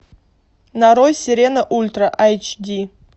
нарой сирена ультра эйч ди